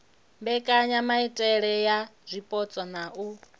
mbekanyamaitele ya zwipotso na u